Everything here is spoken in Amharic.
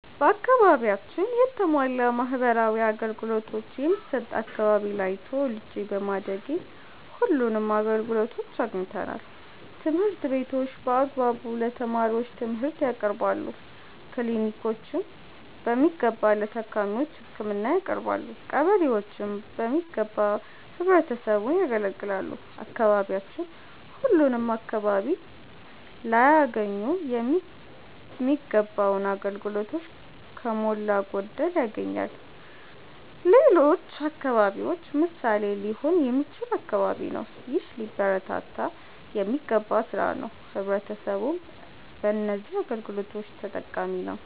በአከባቢያችን የተሟላ ማህበራዊ አገልገሎቶች የሚሠጥ አከባቢ ላይ ተወልጄ በማደጌ ሁለንም አገልግሎቶች አግኝተናል። ትምህርት ቤቶች በአግባቡ ለተማሪዎቹ ትምርህት ያቀርባሉ። ክሊኒኮች በሚገባ ለታካሚዎች ህክምና ያቀረባሉ። ቀበሌዎችም በሚገባ ህብረተሰቡን ያገለግላሉ። አካባቢያችን ሁለም አከባቢ ላያገኙ ሚገባውን አገልግሎቶች ከሞላ ጎደል ያገኛል። ለሌሎች አከባቢዎች ምሣሌ ሊሆን የሚችል አከባቢ ነው። ይህ ሊበረታታ የሚገባ ስራ ነው። ህብረተሰቡም በነዚህ አገልግሎቶች ተጠቃሚ ነዉ።